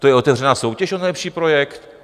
To je otevřená soutěž o nejlepší projekt?